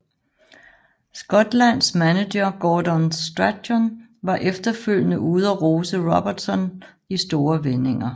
Skotlands manager Gordon Strachan var efterfølgende ude og rose Robertson i store vendinger